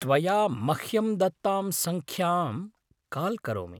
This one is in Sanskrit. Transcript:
त्वया मह्यं दत्तां सङ्ख्याम् काल् करोमि।